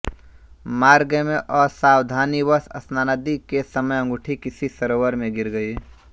मार्ग में असावधानीवश स्नानादि के समय अंगूठी किसी सरोवर में गिर गई